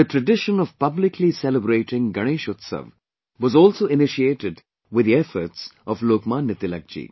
Tradition of publicly celebrating Ganesh Utsav was also initiated with the efforts of Lok Manya Tilakji